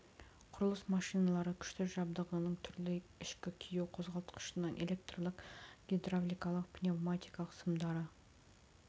құрылыс машиналары күшті жабдығының түрлері ішкі күю қозғалтқышынан электрлік гидравликалық пневматикалық сымдары